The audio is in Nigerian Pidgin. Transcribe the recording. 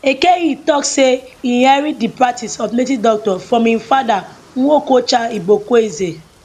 eke hit tok say e inherit di practice of native doctor from im father nwokocha igboekweze